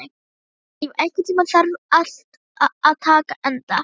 Eilíf, einhvern tímann þarf allt að taka enda.